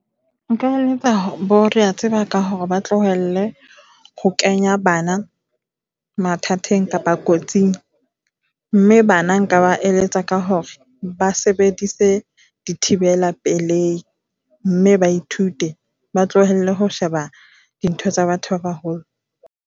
Nka eletsa boreatseba ka hore ba tlohelle ho kenya bana mathateng kapa kotsing. Mme bana nka ba eletsa ka hore ba sebedise di thibela pelei. Mme ba ithute ba tlohelle ho sheba dintho tsa batho ba baholo.